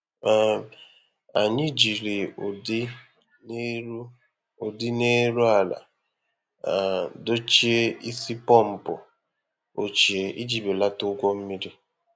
um Anyị jiri ụdị na-eru ụdị na-eru ala um dochie isi pọmpụ ochie iji belata ụgwọ mmiri.